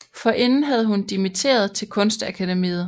Forinden havde hun dimitteret til Kunstakademiet